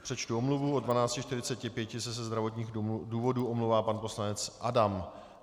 Přečtu omluvu: od 12.45 se ze zdravotních důvodů omlouvá pan poslanec Adam.